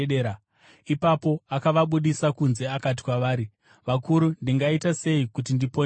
Ipapo akavabudisa kunze akati kwavari, “Vakuru, ndingaita sei kuti ndiponeswe?”